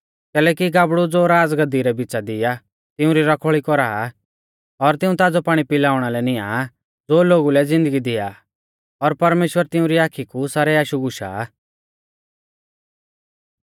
कैलैकि गाबड़ु ज़ो राज़गाद्दी रै बिच़ा दी आ तिउंरी रखवाल़ी कौरा आ और तिऊं ताज़ौ पाणी पिलाउणा लै नियां ज़ो लोगु लै ज़िन्दगी दिया आ और परमेश्‍वर तिउंरी आखी कु सारै आशु गुशा आ